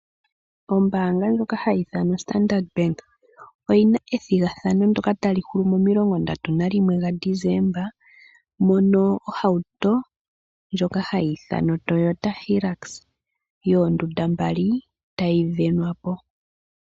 Ombaanga lyoStandard bank oyina ethigathano ndyoka tali hulu mo 31 Decemba 2024 mono ohauto yondunda mbali toToyota Hilux tayi venwa po.